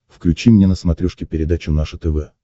включи мне на смотрешке передачу наше тв